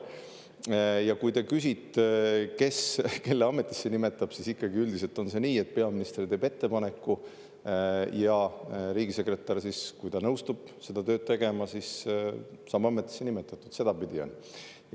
Ja kui te küsite, kes kelle ametisse nimetab, siis ikkagi üldiselt on nii, et peaminister teeb ettepaneku ja riigisekretär, kui ta nõustub seda tööd tegema, saab ametisse nimetatud, sedapidi on.